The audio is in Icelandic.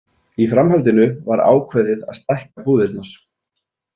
Í framhaldinu var ákveðið að stækka búðirnar.